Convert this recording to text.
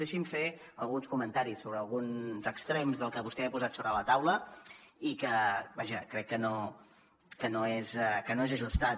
deixi’m fer alguns comentaris sobre alguns extrems del que vostè ha posat sobre la taula i que vaja crec que no que no és ajustat